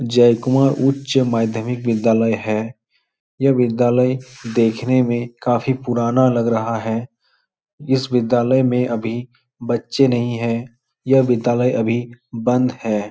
जयकुमार उच्च माध्मिक विद्यालय है। यह विद्यालय देखने में काफी पुराना लग रहा है। इस विद्यालय में अभी बच्चे नहीं हैं। यह विद्यालय अभी बंद है।